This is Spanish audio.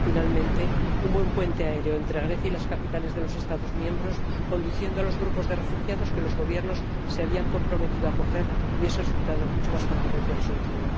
Finalmente, un buen puente aéreo entre Grecia y las capitales de los Estados miembros, conduciendo a los grupos de refugiados que los Gobiernos se habían comprometido acoger, hubiese resultado mucho más contundente y resolutivo.